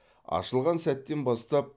ашылған сәттен бастап